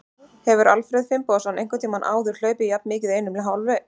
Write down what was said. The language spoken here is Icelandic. Hefur Alfreð Finnbogason einhvern tímann áður hlaupið jafn mikið í einum hálfleik?